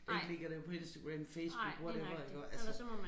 Der ikke ligger dér på Instagram Facebook whatever iggå altså